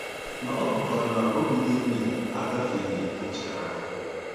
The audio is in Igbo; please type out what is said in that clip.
Ma ọ hụkwara na obi Devid agafeghị nchegharị.